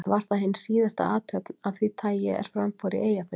Var það hin síðasta athöfn af því tagi, er fram fór í Eyjafirði.